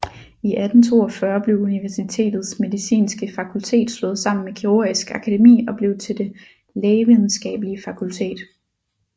I 1842 blev universitetets medicinske fakultet slået sammen med Kirurgisk Akademi og blev til Det Lægevidenskabelige Fakultet